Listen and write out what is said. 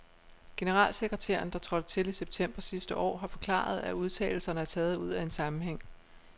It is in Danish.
Generalsekretæren, der trådte til i september sidste år, har forklaret, at udtalelserne er taget ud af en sammenhæng.